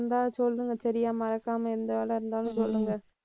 இருந்தா சொல்லுங்க சரியா மறக்காம எந்த வேலை இருந்தாலும் சொல்லுங்க.